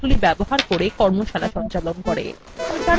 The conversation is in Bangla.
কথ্য tutorialsগুলি ব্যবহার করে কর্মশালা সঞ্চালন করে